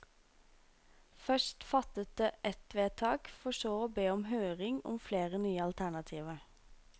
Først fattet det ett vedtak, for så å be om høring om flere nye alternativer.